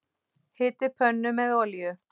Hitið pönnu með olíu.